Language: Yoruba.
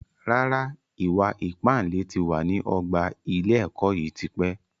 Rárá, ìwà ìpánle tí wá ní ọgbà ilé ẹ̀kọ́ yìí tí pẹ́